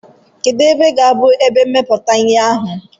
Kedu ebe ga-abụ ebe mmepụta ihe ahụ?